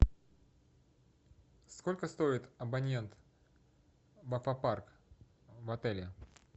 сколько стоит абонент в аквапарк в отеле